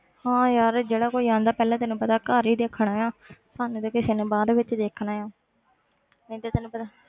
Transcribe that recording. ਹਾਂ ਯਾਰ ਜਿਹੜਾ ਕੋਈ ਆਉਂਦਾ ਪਹਿਲਾਂ ਤੈਨੂੰ ਪਤਾ ਘਰ ਹੀ ਦੇਖਣਾ ਆਂ ਸਾਨੂੰ ਤੇ ਕਿਸੇ ਨੇ ਬਾਅਦ ਵਿੱਚ ਦੇਖਣਾ ਹੈ ਇੱਕ ਤਾਂ ਤੈਨੂੰ ਪਤਾ